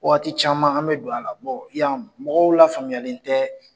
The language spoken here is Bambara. Waati caman ,an bɛ don a la ,bɔ yan , mɔgɔw la faamuyalen tɛ.